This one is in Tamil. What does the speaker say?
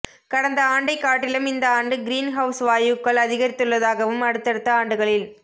கடந்த ஆண்டைக் காட்டிலும் இந்த ஆண்டு கிரீன் ஹவுஸ் வாயுக்கள் அதிகரித்துள்ளதாகவும் அடுத்தடுத்த ஆண்டுகளில்